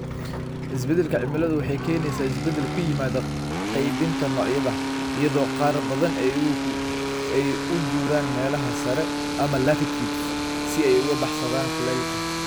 Isbeddelka cimiladu waxay keenaysaa isbeddel ku yimaada qaybinta noocyada, iyadoo qaar badan ay u guuraan meelaha sare ama latitudes si ay uga baxsadaan kulaylka.